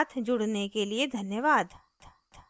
हमारे साथ जुड़ने के लिए धन्यवाद